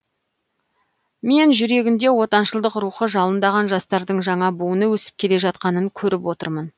мен жүрегінде отаншылдық рухы жалындаған жастардың жаңа буыны өсіп келе жатқанын көріп отырмын